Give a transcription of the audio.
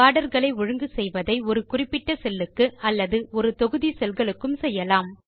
பார்டர்களை ஒழுங்கு செய்வதை ஒரு குறிப்பிட்ட செல்லுக்கு அல்லது ஒரு தொகுதி செல்களுக்கும் செய்யலாம்